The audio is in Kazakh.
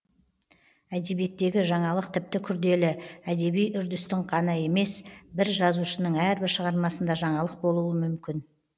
әдебиеттегі жаңалық тіпті күрделі әдеби үрдістің қана емес бір жазушының әрбір шығармасында жаңалық болуы мүмкін